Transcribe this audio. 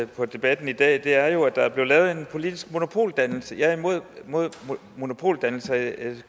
på debatten i dag er jo at der er blevet lavet en politisk monopoldannelse jeg er imod monopoldannelser